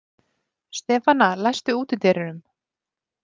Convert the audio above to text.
Stefana, læstu útidyrunum.